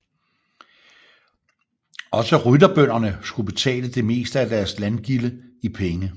Også rytterbønderne skulle betale det meste af deres landgilde i penge